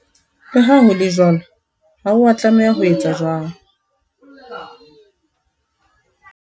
Le ha ho le jwalo, ha o a tlameha ho etsa jwalo.